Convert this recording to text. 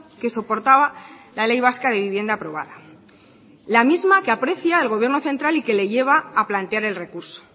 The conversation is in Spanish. que soportaba la ley vasca de vivienda aprobada la misma que aprecia el gobierno central y que le lleva a plantear el recurso